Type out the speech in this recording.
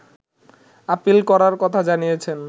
appeal করার কথা জানিয়েছেন